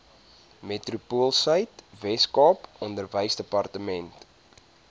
metropoolsuid weskaap onderwysdepartement